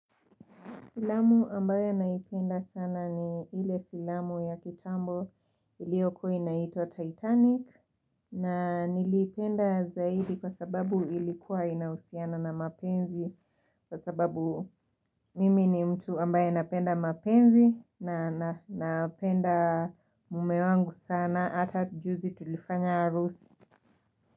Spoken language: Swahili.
Filamu ambaye naipenda sana ni ile filamu ya kitambo ilioko inaitwa Titanic na nilipenda zaidi kwa sababu ilikuwa inausiana na mapenzi kwa sababu mimi ni mtu ambaye napenda mapenzi na napenda mumewangu sana ata juzi tulifanya arusi.